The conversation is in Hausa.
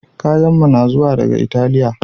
Kayanmu na zuwa daga Italiya